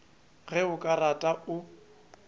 ge o ka rata o